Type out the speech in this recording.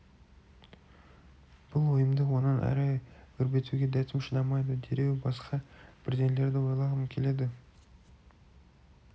бұл ойымды онан әрі өрбітуге дәтім шыдамайды дереу басқа бірдеңелерді ойлағым келеді